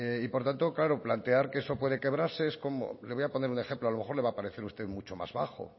por tanto claro plantear que eso puede quebrarse es como le voy a poner un ejemplo a lo mejor le va a parecer a usted mucho más bajo